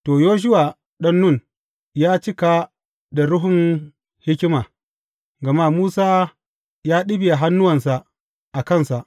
To, Yoshuwa ɗan Nun ya cika da ruhun hikima, gama Musa ya ɗibiya hannuwansa a kansa.